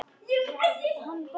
Líttu út sagði hann.